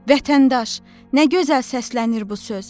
Vətəndaş, nə gözəl səslənir bu söz!